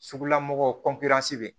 Sugula mɔgɔw bɛ yen